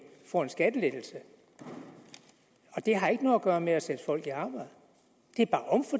får en skattelettelse og det har ikke noget at gøre med at sætte folk i arbejde